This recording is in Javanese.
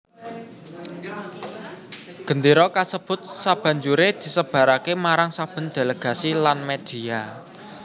Gendéra kasebut sabanjuré disebaraké marang saben delegasi lan media